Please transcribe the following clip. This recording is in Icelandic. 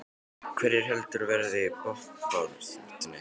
Hverjir heldurðu að verði í botnbaráttunni?